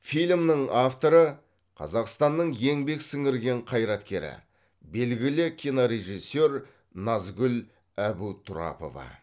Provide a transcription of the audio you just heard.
фильмнің авторы қазақстанның еңбек сіңірген қайраткері белгілі кинорежиссер назгүл әбутұрапова